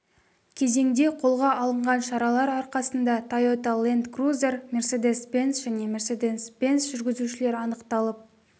кезеңде қолға алынған шаралар арқасында тойота ленд крузер мерседес бенц және мерседес бенц жүргізушілері анықталып